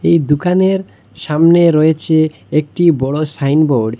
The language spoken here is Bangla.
এই দুকানের সামনে রয়েছে একটি বড় সাইনবোর্ড ।